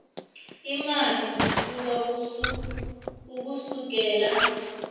iimali zihluka ukusukela